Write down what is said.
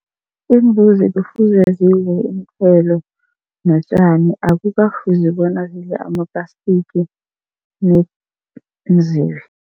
Iimbuzi kufuze zidle iinthelo notjani, akukafuzi bona zidle ama-plastic